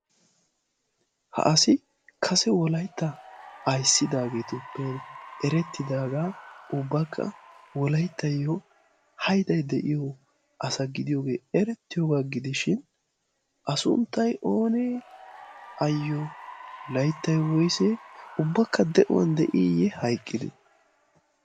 ha asi kase wolaitta aissidaageetuppe erettidaagaa ubbakka wolaittayyo haidai de'iyo asa gidiyoogee erettiyoogaa gidishin a sunttai oonee ayyo laittai woysee ubbakka de'uwan de'iiyye hayqqide?